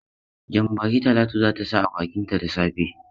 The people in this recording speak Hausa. Jan-baki Talatu za ta sa a bakinta da safe.